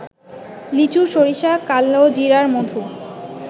লিচু, সরিষা, কালোজিরার মধু